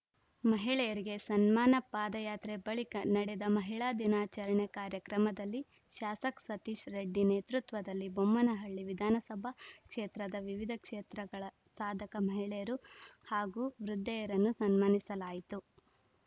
ಮಹಿಳೆಯರಿಗೆ ಸನ್ಮಾನ ಪಾದಯಾತ್ರೆ ಬಳಿಕ ನಡೆದ ಮಹಿಳಾ ದಿನಾಚರಣೆ ಕಾರ್ಯಕ್ರಮದಲ್ಲಿ ಶಾಸಕ್ ಸತೀಶ್‌ ರೆಡ್ಡಿ ನೇತೃತ್ವದಲ್ಲಿ ಬೊಮ್ಮನಹಳ್ಳಿ ವಿಧಾನಸಭಾ ಕ್ಷೇತ್ರದ ವಿವಿಧ ಕ್ಷೇತ್ರಗಳ ಸಾಧಕ ಮಹಿಳೆಯರು ಹಾಗೂ ವೃದ್ಧೆಯರನ್ನು ಸನ್ಮಾನಿಸಲಾಯಿತು